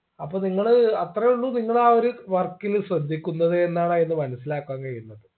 അപ്പൊ നിങ്ങള് അത്രേ ഉള്ളൂ നിങ്ങൾ ആ ഒരു work ല് ശ്രദ്ധിക്കുന്നത് എന്നാണ് അയില് മനസിലാക്കാൻ കഴിയുന്നത്